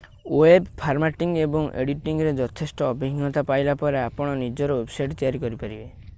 web formatting ଏବଂ ଏଡିଟିଂରେ ଯଥେଷ୍ଟ ଅଭିଜ୍ଞତା ପାଇଲା ପରେ ଆପଣ ନିଜର ୱେବସାଇଟ୍ ତିଆରି କରିପାରିବେ